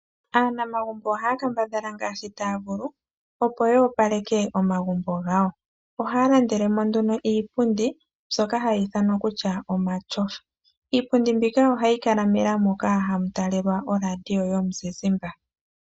Aanamagumbo ohaya kambadhala ngaashi taya vulu, opo yo opaleke omagumbo gawo. Ohaya landele mo nduno iipundi, mbyoka hayi ithanwa kutya omatyofa. Iipundi mbika ohayi kala mela mono hamu talelwa oradio yomuzizimbe.